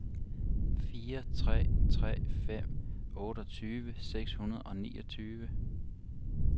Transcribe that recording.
fire tre tre fem otteogtyve seks hundrede og niogtyve